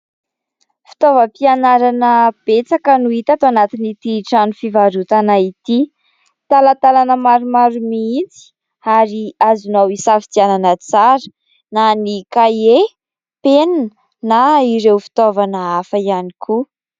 Fitaovam-pianarana betsaka no hita tao anatin' ity trano fivarotana ity, talantalana maromaro mihitsy ary azonao hisafidianana tsara na ny kahie, penina na ireo fitaovana hafa ihany koa.